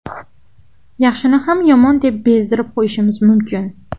Yaxshini ham yomon deb bezdirib qo‘yishimiz mumkin.